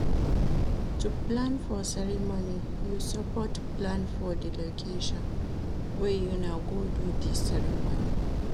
To plan for ceremony you support plan for di location wey una go do di ceremony